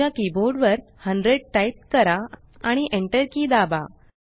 तुमच्या कीबोर्ड वर 100 टाइप करा आणि enter की दाबा